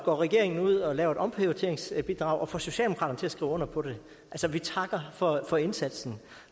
går regeringen ud og laver et omprioriteringsbidrag og får socialdemokraterne til at skrive under på det vi takker for for indsatsen